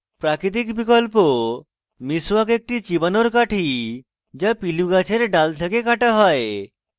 প্রাকৃতিক বিকল্প miswak একটি চিবানোর কাঠি যা পিলু গাছের ডাল থেকে কাটা হয়